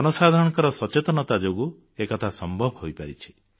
ଜନସାଧାରଣଙ୍କ ସଚେତନତା ଯୋଗୁଁ ଏକଥା ସମ୍ଭବ ହୋଇପାରିଛି